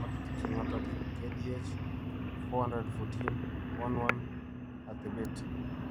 walutik che ng'atootin: KDH414-11 , atebeet